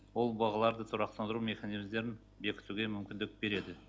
ол бағаларды тұрақтандыру механизмдерін бекітуге мүмкіндік береді